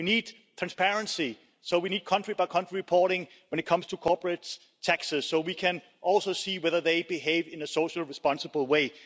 We need transparency, so we need country by country reporting when it comes to corporate taxes so we can also see whether they behave in a socially responsible way.